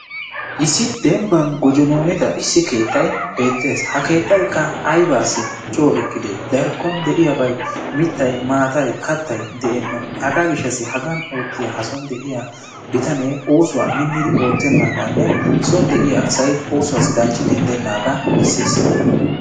Issi dembban gojojjononida issi keettay beettees. ha keettaykka aybbassi coo eqqide darkkon de'iyaabay mittay , maataay, kattay de'eena. hega gishassi hagan de'iya ha bitanee minnidi oottenagane soon de'iya asay oosuwassi daccidi denddenaaga bessees.